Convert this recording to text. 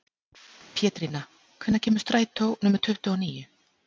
Pétrína, hvenær kemur strætó númer tuttugu og níu?